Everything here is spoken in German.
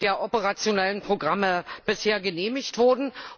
der operationellen Programme bisher genehmigt wurde.